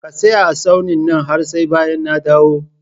Ka tsaya a tsaunin nan har sai bayan na dawo!